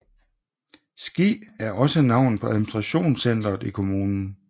Ski er også navnet på administrationscenteret i kommunen